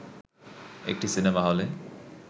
একটি সিনেমা হলে